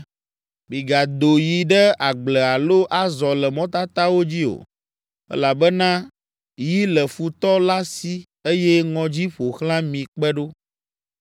Migado yi ɖe agble alo azɔ le mɔtatawo dzi o, elabena yi le futɔ la si eye ŋɔdzi ƒo xlã mi kpe ɖo.